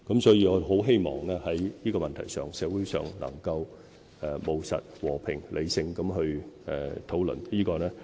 所以，我很希望在這問題上，社會能夠務實、和平、理性地討論。